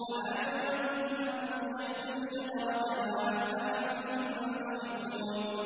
أَأَنتُمْ أَنشَأْتُمْ شَجَرَتَهَا أَمْ نَحْنُ الْمُنشِئُونَ